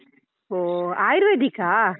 ಓ ಆಯುರ್ವೇದಿಕಾ?